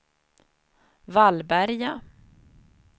Vallberga